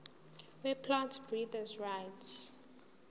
weplant breeders rights